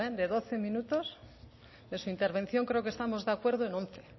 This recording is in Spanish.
de doce minutos de su intervención creo que estamos de acuerdo en once